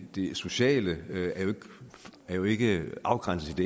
det sociale er jo ikke afgrænset